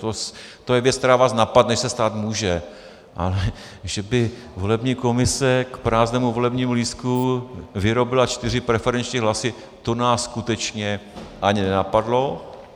To je věc, která vás napadne, že se stát může, ale že by volební komise k prázdnému volebnímu lístku vyrobila čtyři preferenční hlasy, to nás skutečně ani nenapadlo.